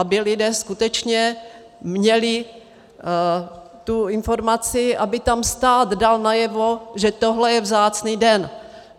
Aby lidé skutečně měli tu informaci, aby tam stát dal najevo, že tohle je vzácný den.